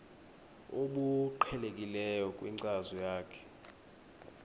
obuqhelekileyo kwinkcazo yakho